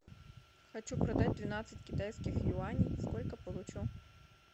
хочу продать двенадцать китайских юаней сколько получу